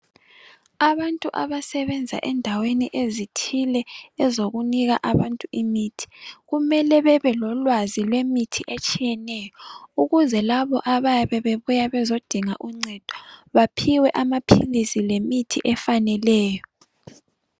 Abantu abasebenza endaweni ezithile ezokunika abantu imithi, kumele bebe lolwazi lemithi etshiyeneyo ukuze labo ababe bebuya kuzidinga uncedo baphiwe amapilisi lemithi afaneleyo.